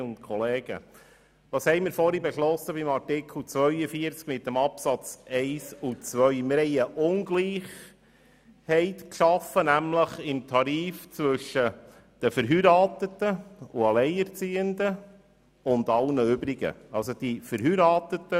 Mit den vorherigen Abstimmungen über die Minderheitsanträge der FiKo zu den Absätzen 1 und 2 von Artikel 42 haben wir eine Tarifungleichheit zwischen den Verheirateten und Alleinerziehenden sowie allen anderen geschaffen.